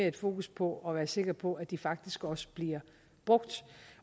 et fokus på at være sikker på at de faktisk også bliver brugt